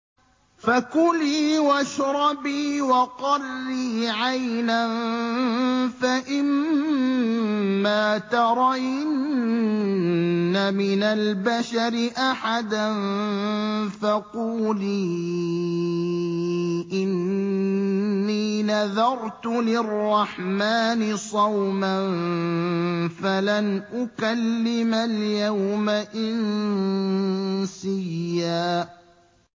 فَكُلِي وَاشْرَبِي وَقَرِّي عَيْنًا ۖ فَإِمَّا تَرَيِنَّ مِنَ الْبَشَرِ أَحَدًا فَقُولِي إِنِّي نَذَرْتُ لِلرَّحْمَٰنِ صَوْمًا فَلَنْ أُكَلِّمَ الْيَوْمَ إِنسِيًّا